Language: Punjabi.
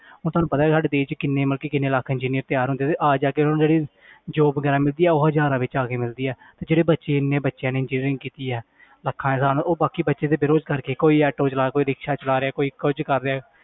ਹੁਣ ਤੁਹਾਨੂੰ ਪਤਾ ਸਾਡੇ ਦੇਸ 'ਚ ਕਿੰਨੇ ਮਤਲਬ ਕਿ ਕਿੰਨੇ ਲੱਖ engineer ਤਿਆਰ ਹੁੰਦੇ ਤੇ ਆ ਜਾ ਕੇ ਉਹਨਾਂ ਨੂੰ ਜਿਹੜੀ job ਵਗ਼ੈਰਾ ਮਿਲਦੀ ਹੈ ਉਹ ਹਜ਼ਾਰਾਂ ਵਿੱਚ ਜਾ ਕੇ ਮਿਲਦੀ ਹੈ ਤੇ ਜਿਹੜੇ ਬੱਚੇ ਇੰਨੇ ਬੱਚਿਆਂ ਨੇ engineering ਕੀਤੀ ਹੈ ਲੱਖਾਂ ਦੇ ਹਿਸਾਬ ਨਾਲ ਉਹ ਬਾਕੀ ਬੱਚੇ ਤੇ ਬੇਰੁਜ਼ਗਾਰ ਕਰਕੇ ਕੋਈ ਆਟੋ ਚਲਾ ਕੋਈ ਰਿਕਸ਼ਾ ਚਲਾ ਕੋਈ ਕੁੱਝ ਕਰ ਰਿਹਾ